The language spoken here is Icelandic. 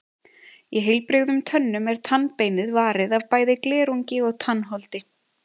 Í heilbrigðum tönnum er tannbeinið varið af bæði glerungi og tannholdi.